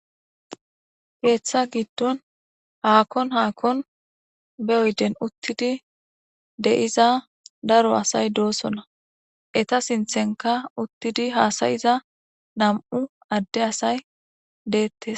Geeththa giddon haakon haakon be oyden uttidi de'iza daro asay doosona eta sinthenka uttidi haasayiza nam'u adde asay deettes.